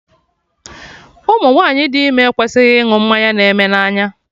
Ụmụ nwanyị dị ime ekwesịghị ịnụ mmanya na-eme n'anya